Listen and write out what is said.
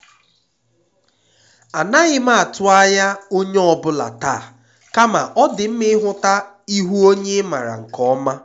anaghị m atụ ányá onyé ọ bụla taa kama ọ dị mma ịhụta ihu onye ị maara nke ọma.